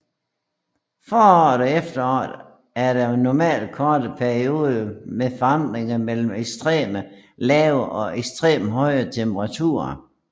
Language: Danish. Foråret og efteråret er der normalt korte perioder med forandring mellem ekstremt lave og ekstremt høje temperaturer